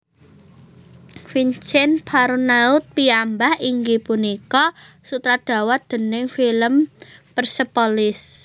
Vincen Parronaud piyambak inggih punika sutradara déning film Persepolis